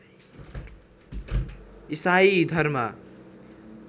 ईसाइ धर्म